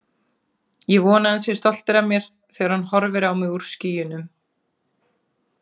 Ég vona að hann sé stoltur af mér þegar hann horfir á mig úr skýjunum.